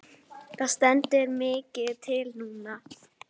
Það stendur mikið til núna.